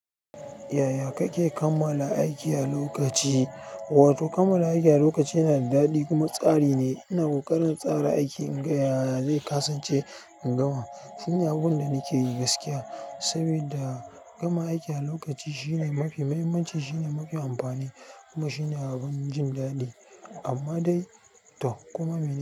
Yaya kake kammala aiki a lokaci? Wato kammala aiki a lokaci yana da daɗi kuma tsari ne. Ina ƙoƙarin tsara aiki in ga yana zai kasance ingama. Shi ne abubuwan da nake yi gaskiya sabida gama aiki a lokaci shine mafi muhimmanci, shine mafi amfani kuma shine abin jin daɗi. Amma dai to koma mene.